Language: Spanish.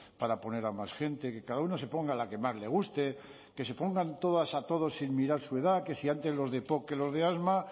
para poner a más gente que cada uno se ponga la que más le guste que se pongan todas a todos sin mirar su edad que si antes los de epoc que los de asma